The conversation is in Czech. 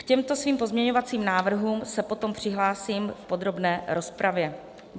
K těmto svým pozměňovacím návrhům se potom přihlásím v podrobné rozpravě.